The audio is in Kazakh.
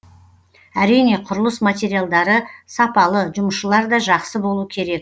әрине құрылыс материалдары сапалы жұмысшылар да жақсы болу керек